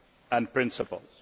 and principles.